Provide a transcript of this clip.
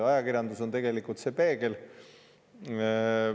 Ajakirjandus on tegelikult peegel.